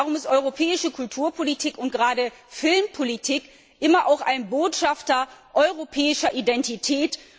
Darum ist europäische Kulturpolitik und gerade Filmpolitik immer auch ein Botschafter europäischer Identität.